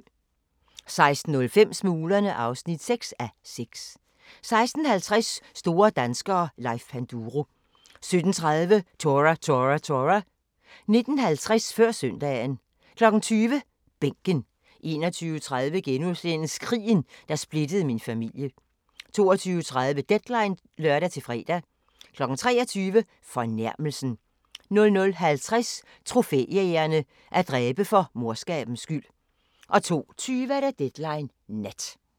16:05: Smuglerne (6:6) 16:50: Store danskere - Leif Panduro 17:30: Tora! Tora! Tora! 19:50: Før søndagen 20:00: Bænken 21:30: Krigen, der splittede min familie * 22:30: Deadline (lør-fre) 23:00: Fornærmelsen 00:50: Trofæjægerne – at dræbe for morskabens skyld 02:20: Deadline Nat